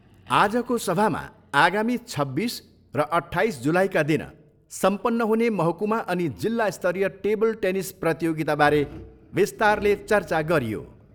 आजको सभामा आगामी छब्बिस र अट्ठाइस जुलाईका दिन सम्पन्न हुने महकुमा अनि जिल्ला स्तरीय टेबल टेनिस प्रतियोगिताबारे विस्तारले चर्चा गरियो।